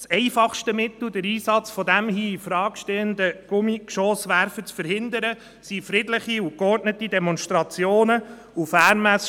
Das einfachste Mittel, den Einsatz des hier infrage stehenden Gummigeschosswerfers zu verhindern, sind friedliche und geordnete Demonstrationen und Fanmärsche.